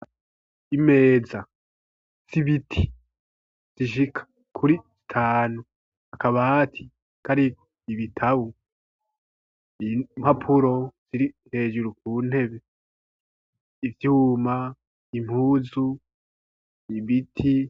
Imeza, zibiti ,zishika kuri itanu ,akabati ,kari ibitabu impapuro ,ziri hejuru ,ku ntebe ivyuma ,impuzu ,ibiti.